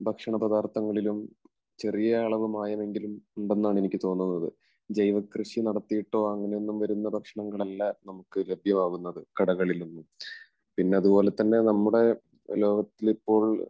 ഭക്ഷണ പദാർത്ഥങ്ങളിലും ചെറിയ അളവ് മായം എങ്കിലും ഉണ്ട് എന്നാണ് എനിക്ക് തോന്നുന്നത്. ജൈവ കൃഷി നടത്തിയിട്ടോ അങ്ങനെയൊന്നും വരുന്ന ഭക്ഷണങ്ങൾ അല്ല നമുക്ക് ലഭ്യമാകുന്നത് കടകളിൽ നിന്ന്. പിന്നെ അതുപോലെ തന്നെ നമ്മുടെ ലോകത്തിൽ ഇപ്പോൾ